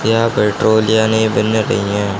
यहां पेट्रोल यानि मिलने चहिए--